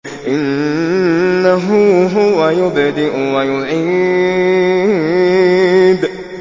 إِنَّهُ هُوَ يُبْدِئُ وَيُعِيدُ